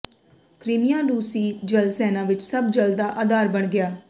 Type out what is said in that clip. Crimea ਰੂਸੀ ਜਲ ਸੈਨਾ ਵਿੱਚ ਸਭ ਜਲ ਦਾ ਆਧਾਰ ਬਣ ਗਿਆ